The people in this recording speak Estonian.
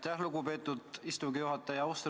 Aitäh, lugupeetud istungi juhataja!